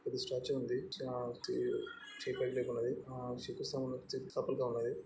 ఆ ఇది స్టాచ్యూ ఉంది. ఆ ఆ చెయ్యి పైకి లేపి ఉన్నదీ. ఊ చుట్టూ చెట్ల ఉన్నదీ. ]